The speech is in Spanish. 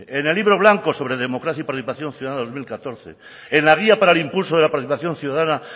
en el libro blanco sobre democracia y participación ciudadana dos mil catorce en la guía para el impulso de la participación ciudadana